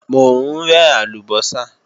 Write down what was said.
Mò ń rẹ́ àlùbọ́sà